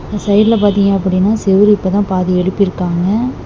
சைடுல பாத்தீங்க அப்படினா செவுரு இப்போ தான் பாதி எழுப்பிருக்காங்க.